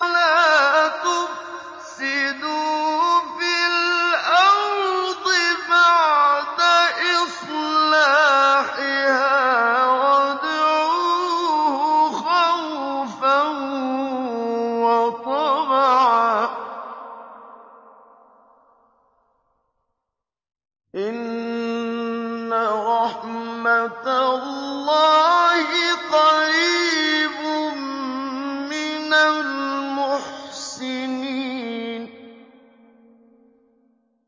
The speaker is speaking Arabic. وَلَا تُفْسِدُوا فِي الْأَرْضِ بَعْدَ إِصْلَاحِهَا وَادْعُوهُ خَوْفًا وَطَمَعًا ۚ إِنَّ رَحْمَتَ اللَّهِ قَرِيبٌ مِّنَ الْمُحْسِنِينَ